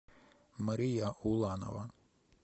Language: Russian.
мария уланова